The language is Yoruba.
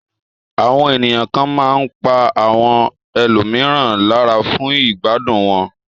Àwọn ènìyàn kan máa ń pa àwọn ẹlòmíràn lára fún ìgbádùn wọn.